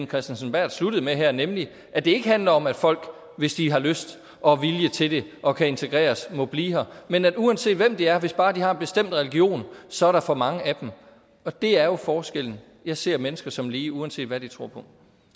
kristensen berth sluttede med her nemlig at det ikke handler om at folk hvis de har lyst og vilje til det og kan integreres må blive her men at der uanset hvem de er hvis bare de har en bestemt religion så er for mange af dem og det er jo forskellen jeg ser mennesker som lige uanset hvad de tror på